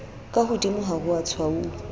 ka hodimo ha ho tshwauwa